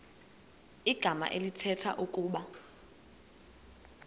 igama elithetha ukuba